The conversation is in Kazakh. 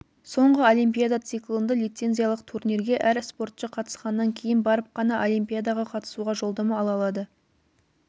соңғы олимпиада циклында лицензиялық турнирге әр спортшы қатысқаннан кейін барып қана олимпиадаға қатысуға жолдама ала алады